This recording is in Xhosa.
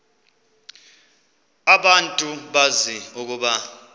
abantu bazi ukuba